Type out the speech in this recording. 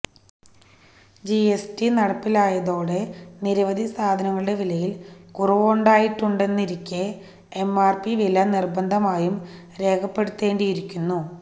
GST നടപ്പിലായതോടെ നിരവധി സാധനങ്ങളുടെ വിലയിൽ കുറവുണ്ടായിട്ടുണ്ടെന്നിരിക്കെ എംആർപി വില നിർബന്ധമായും രേഖപ്പെടുത്തേണ്ടിയിരിക്കുന്നു